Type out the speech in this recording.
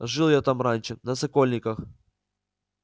жил я там раньше на сокольниках